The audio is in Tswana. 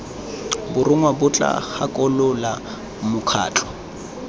borongwa bo tla gakolola mokgatlho